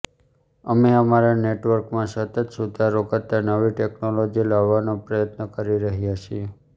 અમે અમારા નેટવર્કમાં સતત સુધારો કરતાં નવી ટેક્નોલોજી લાવવાનો પ્રયત્ન કરી રહ્યા છીએ